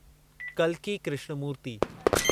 कल्कि कृष्णमूर्ति